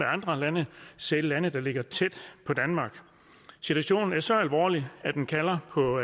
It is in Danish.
andre lande selv lande der ligger tæt på danmark situationen er så alvorlig at den kalder på